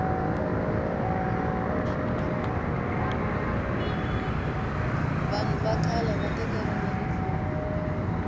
vahnu va khale va tekeriwe rifumo